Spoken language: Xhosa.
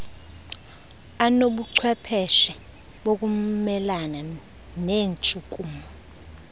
anobuchwepheshe bokumelana neentshukumo